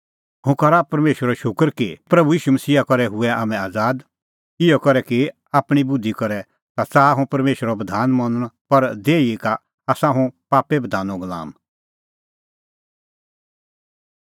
हुंह करा परमेशरो शूकर कि प्रभू ईशू मसीहा करै हुऐ हाम्हैं आज़ाद इहअ करै कि आपणीं बुधि करै ता च़ाहा हुंह परमेशरे बधाना मनणअ पर देही का आसा हुंह पापे बधानो गुलाम